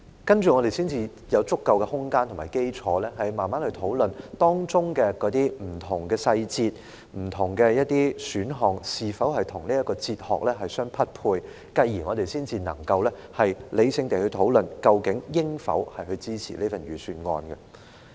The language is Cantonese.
那接着，我們才會有足夠的空間和基礎，慢慢討論當中的不同細節、不同選項，是否與這套哲學相匹配，繼而，我們才能夠理性地討論，究竟應否支持這份預算案。